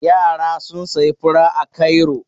Yara sun sayi fura a Cairo